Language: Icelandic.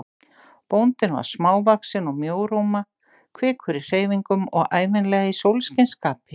Bóndinn var smávaxinn og mjóróma, kvikur í hreyfingum og ævinlega í sólskinsskapi.